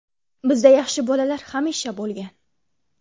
Bizda yaxshi bolalar hamisha bo‘lgan.